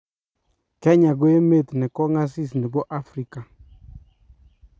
kenya ko emet ne kong'asis ne bo Afrika.